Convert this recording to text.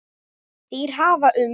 Þeir hafa um